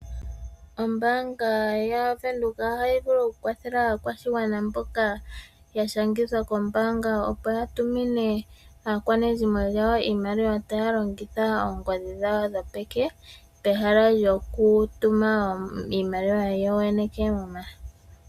Ombaanga yaVenduka ohayi vulu oku kwathela aakwashigwana mboka ya shangithwa kombaanga, opo yatumine aakwanezimo yawo iimaliwa taya longitha oongodhi dhawo dhopeke pehala lyokutuma iimaliwa yoyene keemuma.